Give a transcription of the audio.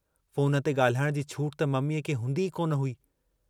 Phone ते ॻाल्हाइण जी छूट त मम्मीअ खे हूंदी ई कोन हुई।